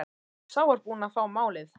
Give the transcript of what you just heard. Sá var búinn að fá málið!